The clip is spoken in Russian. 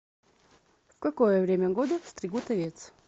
в какое время года стригут овец